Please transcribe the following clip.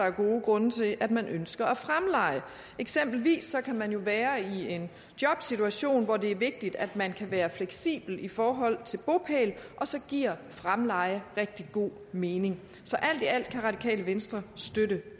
af gode grunde til at man ønsker at fremleje eksempelvis kan man jo være i en jobsituation hvor det er vigtigt at man kan være fleksibel i forhold til bopæl og så giver fremleje rigtig god mening så alt i alt kan radikale venstre støtte